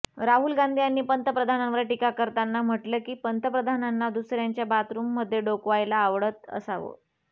राहुल गांधी यांनी पंतप्रधानांवर टीका करताना म्हटलं की पंतप्रधानांना दुसऱ्यांच्या बाथरूममध्ये डोकावायला आवडत असावं